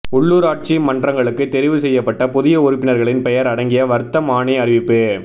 உள்ளுராட்சி மன்றங்களுக்கு தெரிவு செய்யப்பட்ட புதிய உறுப்பினர்களின் பெயர் அடங்கிய வர்த்தமானி அறிவிப்பு